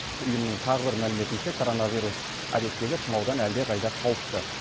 ұйымның тағы бір мәліметінше коронавирус әдеттегі тұмаудан әлдеқайда қауіпті